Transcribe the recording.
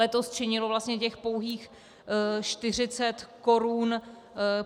Letos činilo vlastně těch pouhých 40 korun.